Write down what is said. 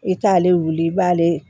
I t'ale wuli i b'ale